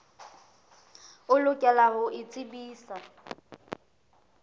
o lokela ho o tsebisa